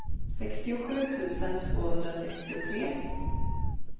sextiosju tusen tvåhundrasextiotre